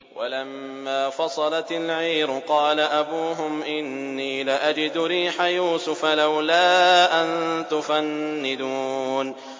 وَلَمَّا فَصَلَتِ الْعِيرُ قَالَ أَبُوهُمْ إِنِّي لَأَجِدُ رِيحَ يُوسُفَ ۖ لَوْلَا أَن تُفَنِّدُونِ